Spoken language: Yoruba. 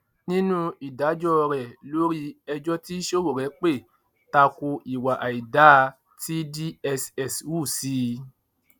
nínú ìdájọ rẹ lórí ẹjọ tí sowore pè ta ko ìwà àìdáa tí dss hù sí i